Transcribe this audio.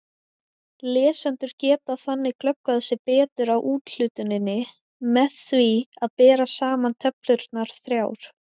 Lesendur geta þannig glöggvað sig betur á úthlutuninni með því að bera saman töflurnar þrjár.